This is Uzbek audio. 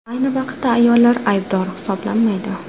Ayni vaqtda ayollar aybdor hisoblanmaydi.